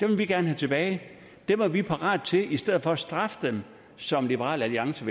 vil vi gerne have tilbage dem er vi parat til at i stedet for at straffe dem som liberal alliance